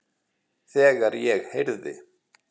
Þegar ég heyrði